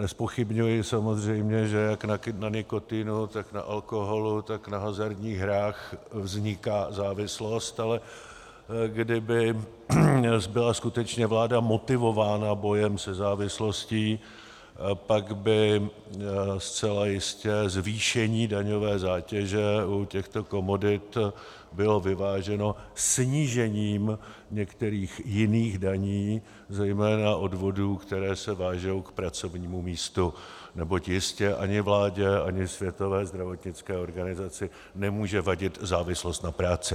Nezpochybňuji samozřejmě, že jak na nikotinu, tak na alkoholu, tak na hazardních hrách vzniká závislost, ale kdyby byla skutečně vláda motivována bojem se závislostí, pak by zcela jistě zvýšení daňové zátěže u těchto komodit bylo vyváženo snížením některých jiných daní, zejména odvodů, které se vážou k pracovnímu místu, neboť jistě ani vládě, ani Světové zdravotnické organizaci nemůže vadit závislost na práci.